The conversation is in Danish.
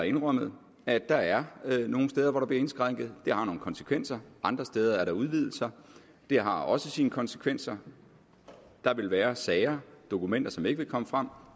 indrømmet at der er nogle steder hvor der bliver indskrænket og det har nogle konsekvenser andre steder er der udvidelser og det har også sine konsekvenser der vil være sager dokumenter som ikke vil komme frem